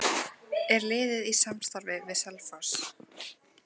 Er liðið í samstarfi við Selfoss?